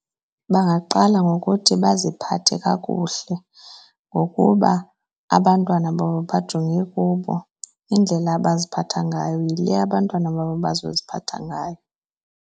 Bangaqala ngokuthi baziphathe kakuhle ngokuba abantwana babo bajonge kubo. Indlela abaziphatha ngayo yile abantwana babo bazoziphatha ngayo.